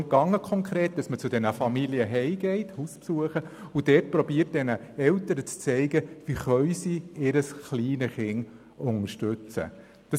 Es ging konkret darum, Familien zu Hause zu besuchen und dort den Eltern zu zeigen, wie sie ihr kleines Kind unterstützen können.